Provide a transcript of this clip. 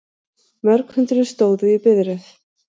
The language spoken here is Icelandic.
Mörg hundruð stóðu í biðröð